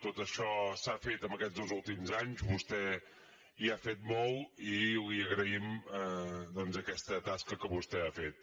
tot això s’ha fet en aquests dos últims anys vostè hi ha fet molt i li agraïm doncs aquesta tasca que vostè ha fet